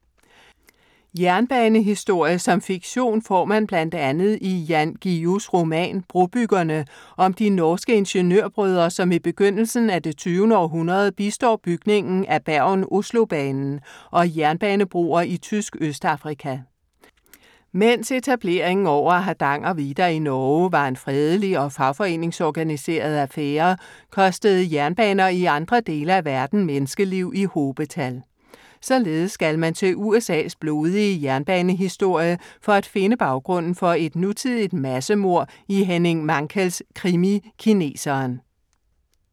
Jernbanehistorie som fiktion får man blandt andet i Jan Guillous roman Brobyggerne, om de norske ingeniørbrødre, som i begyndelsen af det tyvende århundrede bistår bygningen af Bergen-Oslo-banen og jernbanebroer i tysk Østafrika. Mens etableringen over Hardangervidda i Norge var en fredelig og fagforeningsorganiseret affære, kostede jernbaner i andre dele af verden menneskeliv i hobetal. Således skal man til USA's blodige jernbanehistorie for at finde baggrunden for et nutidigt massemord i Henning Mankells krimi, Kineseren.